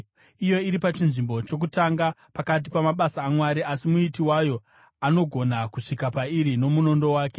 Iyo iri pachinzvimbo chokutanga pakati pamabasa aMwari, asi Muiti wayo anogona kusvika pairi nomunondo wake.